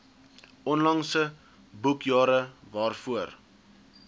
onlangse boekjare waarvoor